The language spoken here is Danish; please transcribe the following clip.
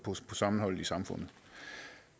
sammenholdet i samfundet